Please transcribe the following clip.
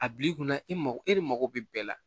A bil'i kunna e mago e de mako bɛ bɛɛ la